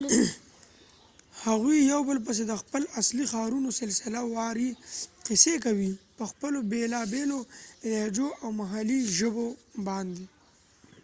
هغوي یو بل پسی د خپل اصلی ښارونو سلسله واری قصی کوي په خپلو بیلا بیلو لهجو او محلي ژبو باندي